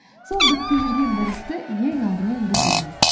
сол бітпей жүрген бір істі ең алдымен бітіріңіз